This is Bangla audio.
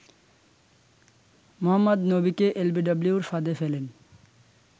মোহাম্মদ নবীকে এলবিডব্লিউর ফাঁদে ফেলেন